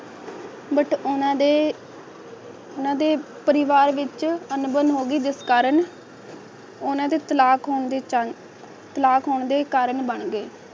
but ਉਨ੍ਹਾਂ ਦੇ ਉਹਨਾਂ ਦੇ ਪਰਿਵਾਰ ਵਿਚ ਅਣਬਣ ਹੋ ਗਈ ਜਿਸ ਕਾਰਨ ਉਨ੍ਹਾਂ ਦੇ ਤਲਾਕ ਹੋਣ ਦੀ ਚਨ ਤਲਾਕ ਹੋਣ ਦੇ ਕਾਰਨ ਬਣ ਗਏ